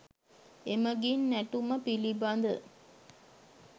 එමගින් නැටුම පිළිබඳ